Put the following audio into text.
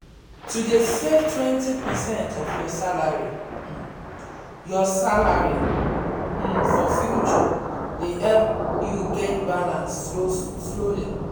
to dey save 20 percent of your salary um your salary um for future dey help you get balance slowly